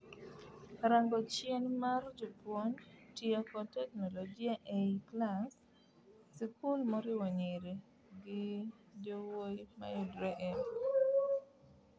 Rango chien mar japuonj; tiyo kod teknologia ei klas sikul moriwo nyiri gi jowuoyi mayudre Embu.